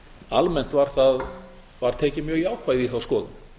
segja að almennt var tekið mjög jákvætt í þá skoðun